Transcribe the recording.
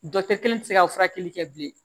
Dɔkitɛri kelen tɛ se ka furakɛli kɛ bilen